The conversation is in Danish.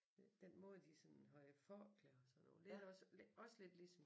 Den måde de sådan havde forklæder og sådan noget lidt også også lidt ligesom